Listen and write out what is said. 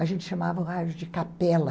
A gente chamava o rádio de capela.